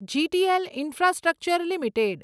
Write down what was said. GTL infrastructure limited